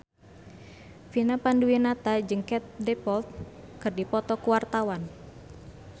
Vina Panduwinata jeung Katie Dippold keur dipoto ku wartawan